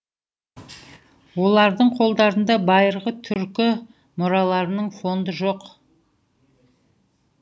олардың қолдарында байырғы түркі мұраларының фонды жоқ